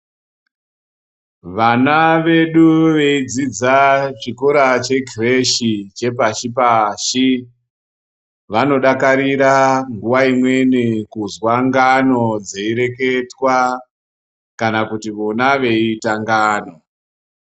Vana vedu veidzidza chikora chekhireshi chepashi-pashi, vanodakarira nguwa imweni kuzwa ngano dzeireketwa, kana kuti vona veiita ngano.